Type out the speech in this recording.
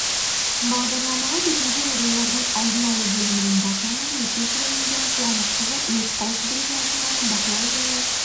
бағдарламаға төтенше жағдайлардың алдын алу бөлімінің бас маманы өтешева индира қуанышқызы өрт қауіпсіздігі саласындағы бақылау және